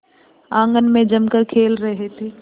आंगन में जमकर खेल रहे थे